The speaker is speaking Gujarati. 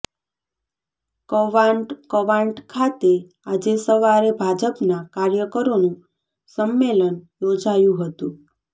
કવાંટ ઃ કવાંટ ખાતે આજે સવારે ભાજપના કાર્યકરોનું સંમેલન યોજાયું હતું